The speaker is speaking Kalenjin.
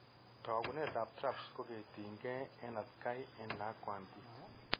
Taakunetaab TRAPS ko ketinkeey en atkay en lakwantiti.